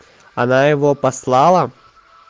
она его послала